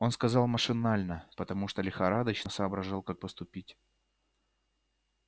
он сказал машинально потому что лихорадочно соображал как поступить